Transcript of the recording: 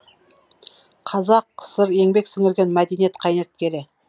қазақкср еңбек сіңірген мәдениет қайраткері